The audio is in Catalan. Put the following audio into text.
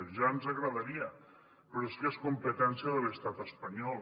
ja ens agradaria però és que és competència de l’estat espanyol